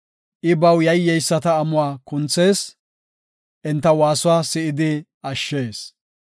I baw yayyeyisata amuwa kunthees; enta waasuwa si7idi ashshees.